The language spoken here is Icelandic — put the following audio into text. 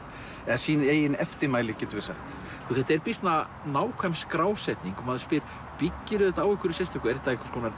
sín eigin eftirmæli þetta er býsna nákvæm skrásetning og maður spyr byggirðu þetta á einhverju sérstöku er þetta einhvers konar